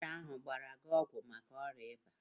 Dọkịta ahụ agbara gị ọgwụ maka ọrịa ịba?